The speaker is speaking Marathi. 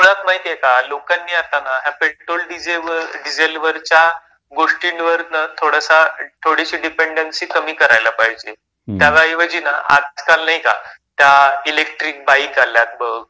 मुळात माहिती आहे का, लोकांनी आता ना या पेट्रोल डिझेल वरच्या गोष्टींवरनं थोडंस, थोडीशी डिपेन्डन्सी कमी करायला पाहिजे. त्याऐवजी ना, आजकाल नाही का त्या इलेक्ट्रिक बाईक आल्यात बघ,